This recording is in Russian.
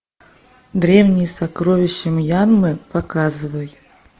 древние сокровища мьянмы показывай